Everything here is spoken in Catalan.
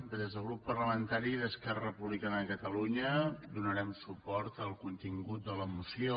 bé des del grup parlamentari d’esquerra republicana de catalunya donarem suport al contingut de la moció